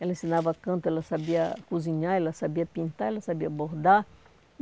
Ela ensinava canto, ela sabia cozinhar, ela sabia pintar, ela sabia bordar.